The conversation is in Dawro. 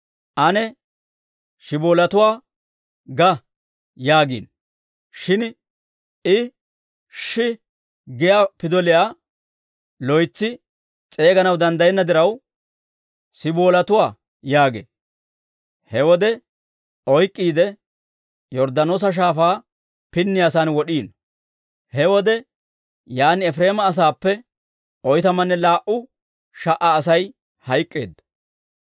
«Ane, ‹Shiboletuwaa› ga» yaagiino. Shin I, «Shi» giyaa pidoliyaa loytsi s'eeganaw danddayenna diraw, «Siboletuwaa» yaagee. He wode oyk'k'iide, Yorddaanoosa Shaafaa pinniyaasan wod'iino. He wode yaan Efireema asaappe oytamanne laa"u sha"a Asay hayk'k'eedda.